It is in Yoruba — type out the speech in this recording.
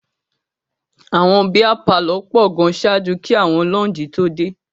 Àwọn bíá palọ̀ pọ̀ gan ṣáájú kí àwọn láúǹjì tó dé.